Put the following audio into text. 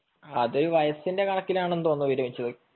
അത് വയസ്സിന്റെ കണക്കിലാണെന്നു തോന്നുന്നു വിരമിച്ചത്